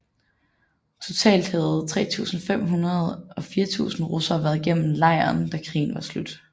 Totalt havde mellem 3500 og 4000 russere været gennem lejren da krigen var slut